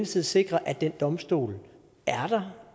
skal sikre at den domstol er der